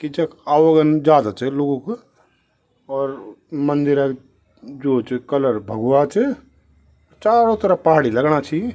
कि जख आवागम ज्यादा च लोगों क और मदिर क जो च कलर भगवा च चारो तरफ पहाड़ी लगणा छी।